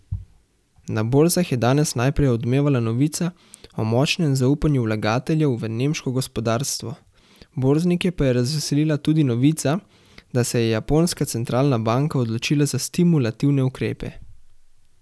Na borzah je danes najprej odmevala novica o močnem zaupanju vlagateljev v nemško gospodarstvo, borznike pa je razveselila tudi novica, da se je japonska centralna banka odločila za stimulativne ukrepe.